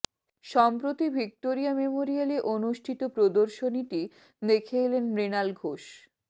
সম্প্রতি ভিক্টোরিয়া মেমোরিয়ালে অনুষ্ঠিত প্রদর্শনীটি দেখে এলেন মৃণাল ঘোষ